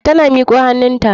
Ta miko hannunta.